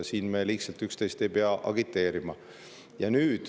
Siin me ei pea üksteist liigselt agiteerima.